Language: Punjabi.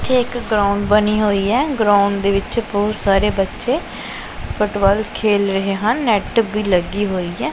ਇੱਥੇ ਇੱਕ ਗਰਾਊਂਡ ਬਣੀ ਹੋਈ ਹੈ ਗਰਾਊਂਡ ਦੇ ਵਿੱਚ ਬਹੁਤ ਸਾਰੇ ਬੱਚੇ ਫੁਟਬਾਲ ਖੇਲ ਰਹੇ ਹਨ ਨੈੱਟ ਵੀ ਲੱਗੀ ਹੋਈ ਹੈ।